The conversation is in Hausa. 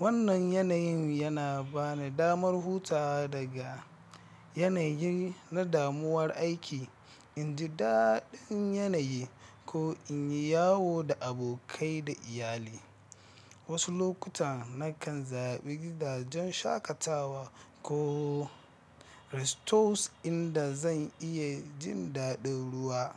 Wannan yanayin yana bani damar hutawa daga yanayi na damuwar aiki, in ji daɗin yanayi, ko in yi yawo da abokai da iyalai. Wasu lokuta na kan zaɓi gidajen shakatawa ko resorts inda zan iya jin daɗin ruwa.